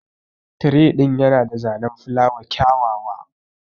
Tire din Yana da zanen filawa kyawawa